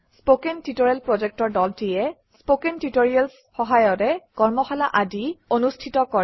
কথন শিক্ষণ প্ৰকল্পৰ দলটিয়ে কথন শিক্ষণ সহায়িকাৰে কৰ্মশালা আদি অনুষ্ঠিত কৰে